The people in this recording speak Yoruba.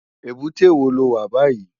Ébúté wó ló wá bàyí?